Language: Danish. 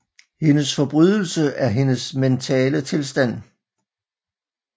Hendes forbrydelse er hendes mentale tilstand